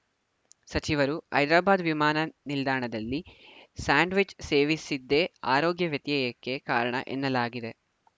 ಸಚಿವರು ಹೈದರಾಬಾದ್‌ ವಿಮಾನ ನಿಲ್ದಾಣದಲ್ಲಿ ಸ್ಯಾಂಡ್‌ ವಿಚ್‌ ಸೇವಿಸಿದ್ದೇ ಆರೋಗ್ಯ ವ್ಯತ್ಯಯಕ್ಕೆ ಕಾರಣ ಎನ್ನಲಾಗಿದೆ